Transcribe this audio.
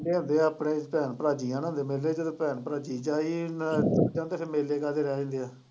ਹੁੰਦੇ ਸੀ ਆਪਣੇ ਭੈਣ ਭਰਾ ਮੇਲੇ ਚ ਤੇ ਭੈਣ ਭਰਾ ਜਾਣ ਤੇ ਫਿਰ ਮੇਲੇ ਕਾਹਦੇ ਰਹਿ ਗਏ ਹੈ